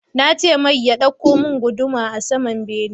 Nace mai ya ɗauko mun guduma a saman bene